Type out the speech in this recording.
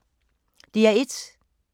DR1